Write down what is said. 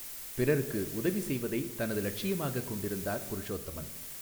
பிறருக்கு உதவி செய்வதை தனது லட்சியமாகக் கொண்டிருந்தார் புருஷோத்தமன்.